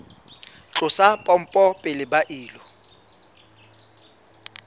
tlosa pompo pele ba ilo